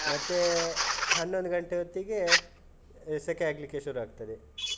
ಮತ್ತೇ ಹನ್ನೊಂದ್ ಘಂಟೆ ಹೊತ್ತಿಗೆ, ಸೆಖೆ ಆಗ್ಲಿಕ್ಕೆ ಶುರು ಆಗ್ತದೆ. .